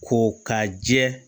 Ko ka jɛ